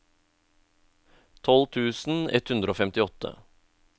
tolv tusen ett hundre og femtiåtte